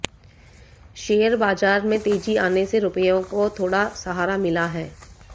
share बाजार में तेजी आने से रूपया को थोड़ा सहारा मिला है